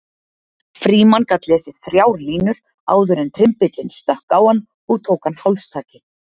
Frímann gat lesið þrjár línur áður en trymbillinn stökk á hann og tók hann hálstaki.